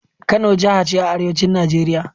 Kano jaha ce a arewacin Najeriya.